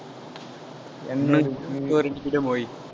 Y